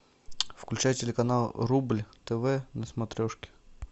включай телеканал рубль тв на смотрешке